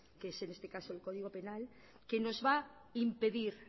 que es en este caso el código penal que nos va impedir